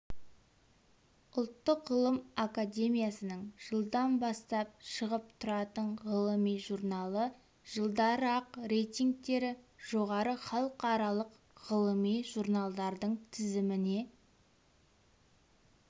ұлттық ғылым академиясының жылдан бастап шығып тұратын ғылыми журналы жылдары-ақ рейтингтері жоғары халықаралық ғылыми журналдардың тізіміне